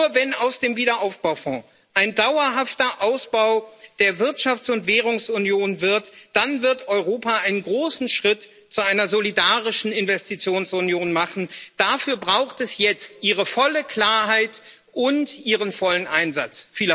Nur wenn aus dem Wiederaufbaufonds ein dauerhafter Ausbau der Wirtschafts und Währungsunion wird, dann wird Europa einen großen Schritt zu einer solidarischen Investitionsunion machen. Dafür braucht es jetzt Ihre volle Klarheit und Ihren vollen Einsatz.